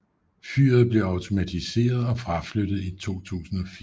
Fyret blev automatiseret og fraflyttet i 2004